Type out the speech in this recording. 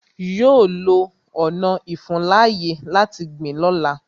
Yọ lọ ọna ìfuńláyè láti gbìn lọ́la.